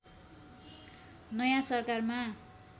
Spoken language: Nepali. नयाँ सरकारमा